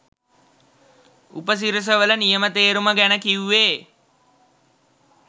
උපසිරස වල නියම තේරුම ගැන කිව්වේ